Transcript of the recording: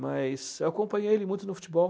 Mas eu acompanhei ele muito no futebol.